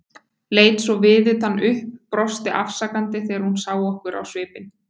Leit svo viðutan upp, brosti afsakandi þegar hún sá á okkur svipinn.